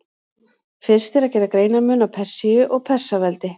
Fyrst er að gera greinarmun á Persíu og Persaveldi.